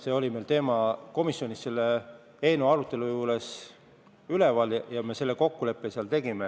See teema oli meil komisjonis selle eelnõu arutelu ajal üleval ja selle kokkuleppe me seal tegime.